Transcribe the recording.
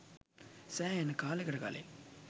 සෑහෙන කාලෙකට කලින්